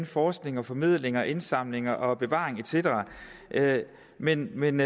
forskning og formidling og indsamling og bevaring et cetera men men